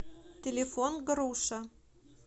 телефон груша